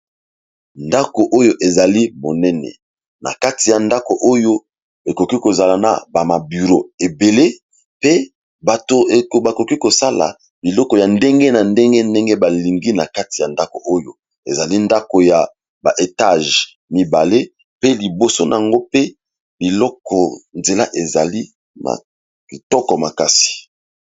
ndako oyo ezali monene na kati ya ndako oyo ekoki kozala na bamaburo ebele pe bato bakoki kosala biloko ya ndenge na ndenge ndenge balingi na kati ya ndako oyo ezali ndako ya baetage mibale pe liboso nango pe biloko nzela ezali makitoko makasi